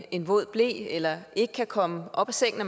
en våd ble eller ikke kan komme op af sengen